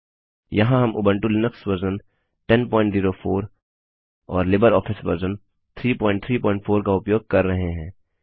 यहाँ हम Ubuntu Linux version 1004 और लिबरऑफिस वर्जन 334 का उपयोग कर रहे हैं